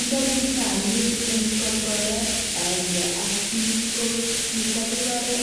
"Nda kitamii ing korokoret aenge ak pik ko kitakipare